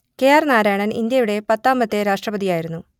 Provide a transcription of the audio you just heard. K R Narayanan ഇന്ത്യയുടെ പത്താമത്തെ രാഷ്ട്രപതിയായിരുന്നു